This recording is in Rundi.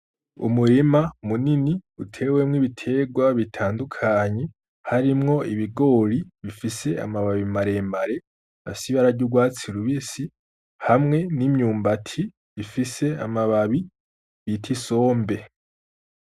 Umurima munini utewemwo ibitegwa bitandukanye harimwo ibigori bifise amababi maremare afise ibara ry'ugwatsi rubisi, hamwe n'imyumbati ifise amababi bita isombe.